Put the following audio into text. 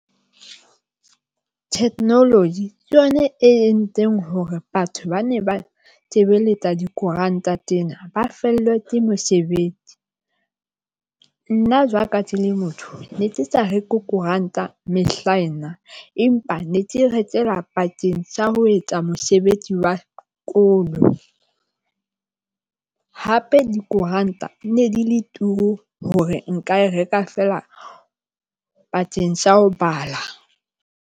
Technology ke yona e entseng hore batho ba ne ba sebeletsa dikoranta tsena ba fellwa ke mesebetsi. Nna, jwalo ka tse le motho ne ke sa reke koranta mehlaena, empa ne ke rekela pakeng sa ho etsa mosebetsi wa sekolo. Hape dikoranta ne di le turu hore nka e reka feela bakeng sa ho bala.